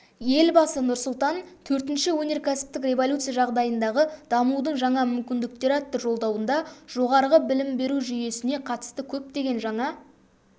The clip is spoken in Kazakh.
елбасы нұрсұлтан төртінші өнеркәсіптік революция жағдайындағы дамудың жаңа мүмкіндіктері атты жолдауында жоғары білім беру жүйесіне қатысты көптеген жаңа